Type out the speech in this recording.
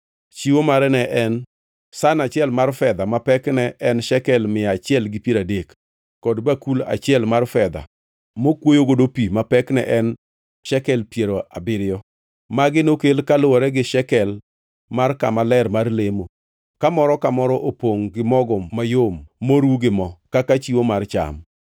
Chiwo mare ne en san achiel mar fedha ma pekne en shekel mia achiel gi piero adek, kod bakul achiel mar fedha mokuoyogo pi ma pekne en shekel piero abiriyo. Magi nokel kaluwore gi shekel mar kama ler mar lemo, ka moro ka moro opongʼ gi mogo mayom moru gi mo kaka chiwo mar cham;